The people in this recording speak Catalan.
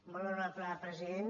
molt honorable president